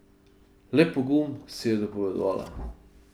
Le pogum, si je dopovedovala.